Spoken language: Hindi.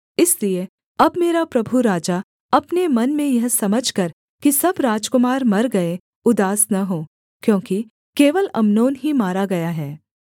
इसलिए अब मेरा प्रभु राजा अपने मन में यह समझकर कि सब राजकुमार मर गए उदास न हो क्योंकि केवल अम्नोन ही मारा गया है